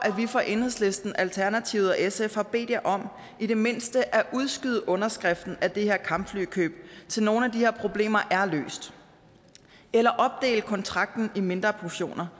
at vi fra enhedslisten alternativet og sf har bedt jer om i det mindste at udskyde underskriften af det her kampflykøb til nogle af de her problemer er løst eller opdele kontrakten i mindre portioner